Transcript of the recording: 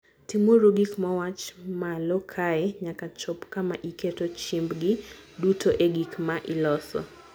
Timuru gik mowach malo kae nyaka chop kama iketo chiembgi duto e gik ma iloso.